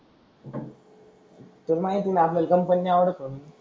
ते माहित नाही आपल्याला कम्पनी नाही आवडत नाही.